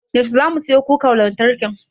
Yaushe zamu siyo kukar lantarkin?